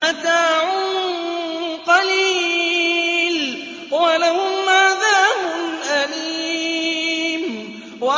مَتَاعٌ قَلِيلٌ وَلَهُمْ عَذَابٌ أَلِيمٌ